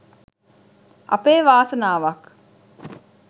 අපේ වාසනාවක්